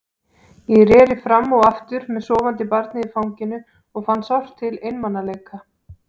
Ég reri fram og aftur með sofandi barnið í fanginu og fann sárt til einmanaleika.